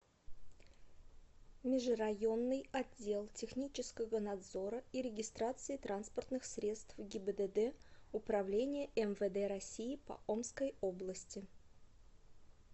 межрайонный отдел технического надзора и регистрации транспортных средств гибдд управления мвд россии по омской области